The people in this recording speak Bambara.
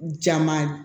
Jama